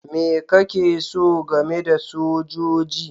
Me kake so game da sojoji?